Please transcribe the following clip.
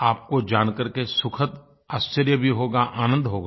आपको जानकर के सुखद आश्चर्य भी होगा आनंद होगा